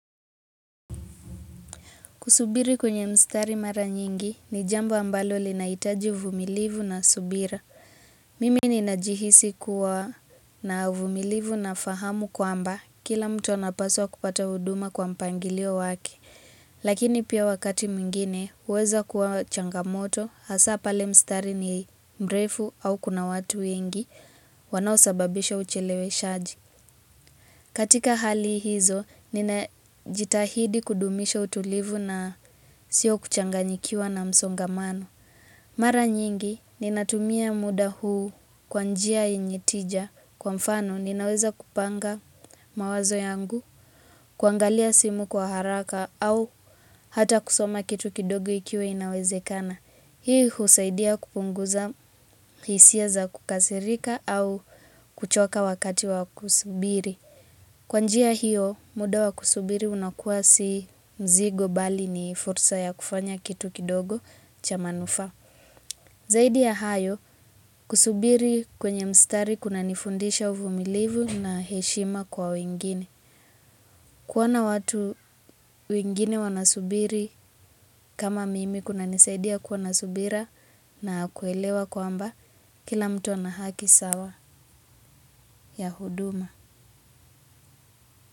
Kusubiri kwenye mstari mara nyingi ni jambo ambalo linahitaji uvumilivu na subira. Mimi ninajihisi kuwa na uvumilivu na fahamu kwamba kila mtu anapaswa kupata huduma kwa mpangilio wake. Lakini pia wakati mwingine huweza kuwa changamoto hasa pale mstari ni mrefu au kuna watu wengi wanaosababisha ucheleweshaji. Katika hali hizo, ninajitahidi kudumisha utulivu na sio kuchanganyikiwa na msongamano. Mara nyingi, ninatumia muda huu kwa njia yenye tija kwa mfano ninaweza kupanga mawazo yangu, kuangalia simu kwa haraka au hata kusoma kitu kidogo ikiwa inawezekana. Hii husaidia kupunguza hisia za kukasirika au kuchoka wakati wa kusubiri. Kwa njia hiyo, muda wa kusubiri unakuwa si mzigo bali ni fursa ya kufanya kitu kidogo cha manufaa. Zaidi ya hayo, kusubiri kwenye mstari kunanifundisha uvumilivu na heshima kwa wengine. Kuona watu wengine wanasubiri kama mimi kuna nisaidia kuwa na subira na kuelewa kwamba kila mtu ana haki sawa ya huduma.